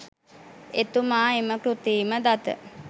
එතුමා එම කෘතිම දත